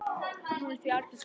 Hún er því algild skylda.